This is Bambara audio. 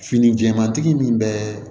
Fini jɛmantigi min bɛ